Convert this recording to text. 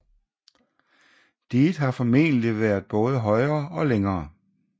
Diget har formentlig været både højere og længere